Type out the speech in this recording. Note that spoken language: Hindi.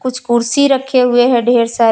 कुछ कुर्सी रखे हुए है ढेर सारे।